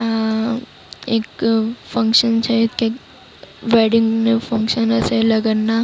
આ એક ફંક્શન છે. કંઈક વેડિંગ નું ફંક્શન હશે લગનના.